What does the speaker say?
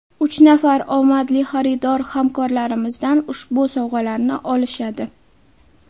Uch nafar omadli xaridor hamkorlarimizdan ushbu sovg‘alarni olishadi.